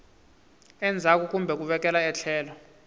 endzhaku kumbe ku vekela etlhelo